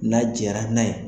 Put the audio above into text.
N'a nɛra n'a ye.